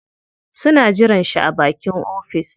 Suna jiran shi a bakin ofis.